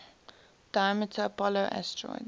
diameter apollo asteroid